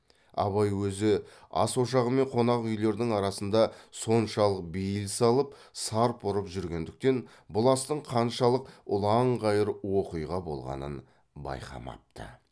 абай өзі ас ошағы мен қонақ үйлердің арасында соншалық бейіл салып сарп ұрып жүргендіктен бұл астың қаншалық ұланғайыр уақиға болғанын байқамапты